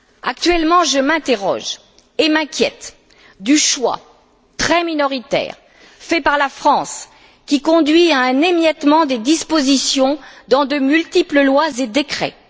Actuellement, je m'interroge et m'inquiète du choix très minoritaire fait par la France qui conduit à un émiettement des dispositions dans de multiples lois et décrets.